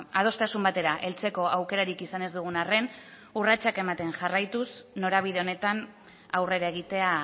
adostasun batera heltzeko aukerarik izan ez dugun arren urratsak ematen jarraituz norabide honetan aurrera egitea